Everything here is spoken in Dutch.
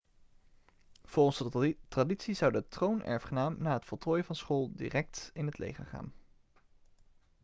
volgens de traditie zou de troonerfgenaam na het voltooien van school direct in het leger gaan